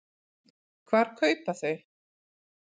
Hvar kaupa þau?